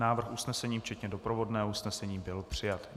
Návrh usnesení včetně doprovodného usnesení byl přijat.